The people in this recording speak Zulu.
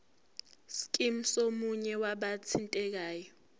scheme somunye wabathintekayo